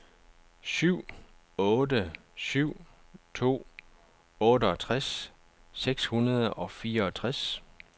syv otte syv to otteogtres seks hundrede og fireogtres